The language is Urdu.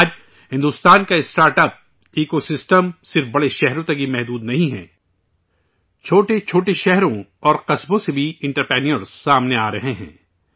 آج، بھارت کا اسٹارٹ اپس ایکوسسٹم صرف بڑے شہروں تک ہی محدود نہیں ہے، چھوٹے چھوٹے شہروں اور قصبوں سے بھی انٹرپرینورز سامنے آرہے ہیں